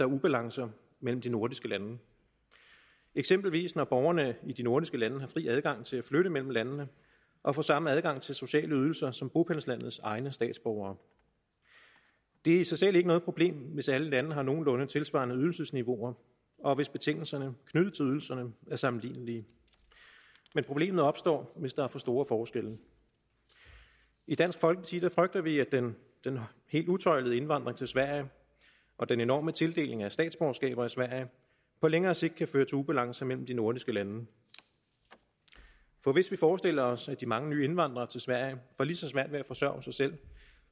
ubalance mellem de nordiske lande eksempelvis når borgerne i de nordiske lande har fri adgang til at flytte mellem landene og får samme adgang til sociale ydelser som bopælslandets egne statsborgere det er i sig selv ikke noget problem hvis alle lande har nogenlunde tilsvarende ydelsesniveauer og hvis betingelserne knyttet til ydelserne er sammenlignelige men problemet opstår hvis der er for store forskelle i dansk folkeparti frygter vi at den helt utøjlede indvandring til sverige og den enorme tildeling af statsborgerskaber i sverige på længere sigt kan føre til ubalance mellem de nordiske lande for hvis vi forestiller os at de mange nye indvandrere til sverige får lige så svært ved at forsørge sig selv